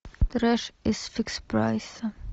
треш из фикс прайса